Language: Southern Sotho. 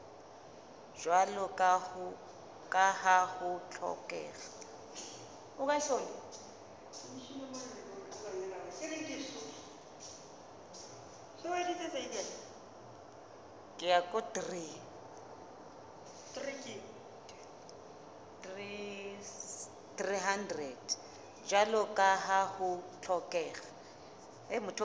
jwalo ka ha ho hlokeha